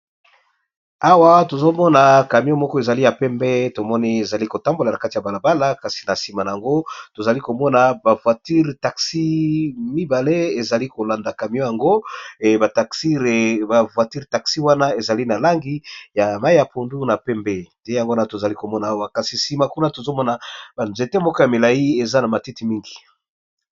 Awa tozomona camion moko ezali ya pembe, tomoni ezali kotambola na kati ya balabala kasi na sima na yango tozali komona ba voiture taxi mibale ezali kolanda camion , yango Ba voiture taxi wana ezali na langi ya mai ya pundu na pembe yango tozali komona awa kasi sima kuna tozomona ba nzete moko ya milai eza na matiti mingi.